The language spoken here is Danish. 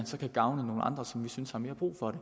så kan gavne nogle andre som vi synes har mere brug for det